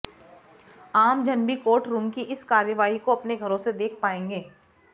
आम जन भी कोर्ट रूम की इस कार्यवाही को अपने घरों से देख पाएंगे